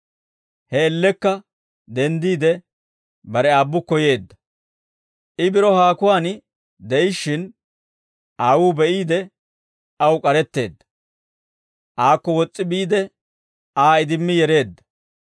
He man''iyaan denddiide bare aabbukko yeedda. «I biro haakuwaan de'ishshin, aawuu be'iide, aw k'aretteedda; aakko wos's'i biide, Aa idimmi yereedda.